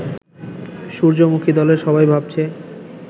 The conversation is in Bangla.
সূর্যমুখী-দলের সবাই ভাবছে